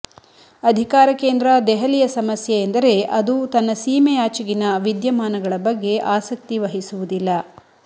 ಅಧಿಕಾರ ಕೇಂದ್ರ ದೆಹಲಿಯ ಸಮಸ್ಯೆ ಎಂದರೆ ಅದು ತನ್ನ ಸೀಮೆಯಾಚೆಗಿನ ವಿದ್ಯಮಾನಗಳ ಬಗ್ಗೆ ಆಸಕ್ತಿ ವಹಿಸುವುದಿಲ್ಲ